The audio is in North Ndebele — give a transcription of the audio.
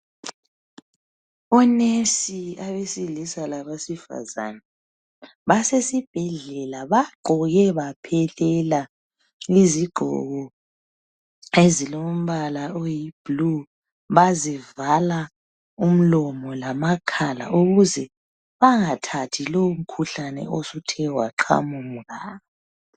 ONesi abesilisa labesifazana, basesibhedlela bagqoke baphelela, izigqoko ezilombala oyiblue. Bazivala umlomo lamakhala ukuze bangathathi umkhuhlane lo osuthe waqhamuka.